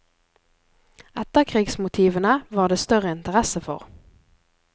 Etterkrigsmotivene var det større interesse for.